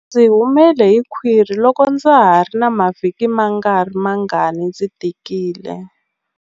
Ndzi humele hi khwiri loko ndza ha ri na mavhiki mangarimangani ndzi tikile.